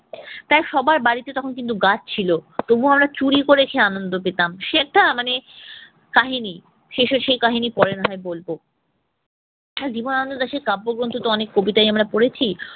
তাই সবার বাড়িতে তখন কিন্তু গাছ ছিল। তবুও আমরা চুরি করে খেয়ে আনন্দ পেতাম। সে একটা মানে কাহানি শেষে সে কাহিনি পরে না হয় বলব। আর জীবন আনন্দ দাশের অনেক কাব্যগ্রন্থতো অনেক কবিতা্ই আমরা পড়েছি।